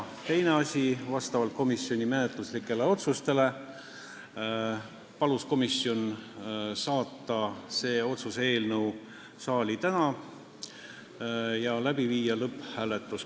Teine asi, vastavalt komisjoni menetluslikele otsustele palus komisjon saata selle otsuse eelnõu saali täna ja panna lõpphääletusele.